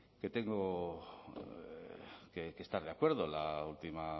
que tengo que estar de acuerdo la última